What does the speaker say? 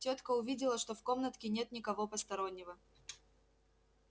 тётка увидела что в комнатке нет никого постороннего